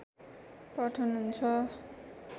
पाठन हुन्छ